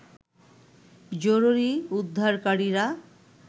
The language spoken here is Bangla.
জরুরী উদ্ধারকারীরা